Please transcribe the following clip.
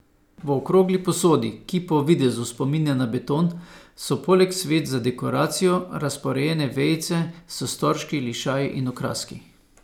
V okrogli posodi, ki po videzu spominja na beton, so poleg sveč za dekoracijo razporejene vejice s storžki, lišaji in okraski.